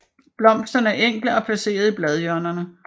Blomsterne enkle og placeret i bladhjørnerne